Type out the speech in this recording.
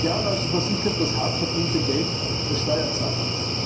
Seit Jahren also versickert das hart verdiente Geld der Steuerzahler.